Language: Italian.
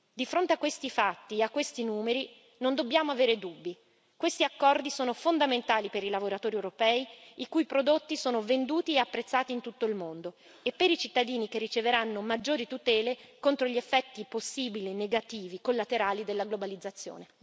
Di fronte a questi fatti, a questi numeri, non dobbiamo avere dubbi questi accordi sono fondamentali per i lavoratori europei, i cui prodotti sono venduti e apprezzati in tutto il mondo e per i cittadini, che riceveranno maggiori tutele contro i possibili effetti negativi collaterali della globalizzazione